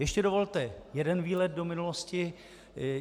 Ještě dovolte jeden výlet do minulosti.